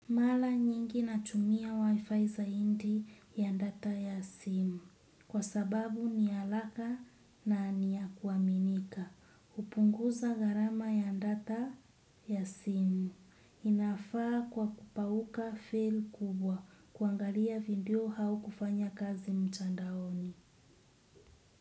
Mala nyingi natumia wifi zaindi ya data ya simu kwa sababu ni alaka na ni ya kuaminika upunguza gharama ya data ya simu inafaa kwa kupauka fail kubwa kuangalia video hau kufanya kazi mchandaoni.